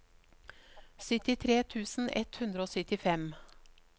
syttitre tusen ett hundre og syttifem